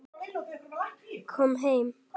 Kom heim!